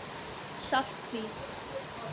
Saltvík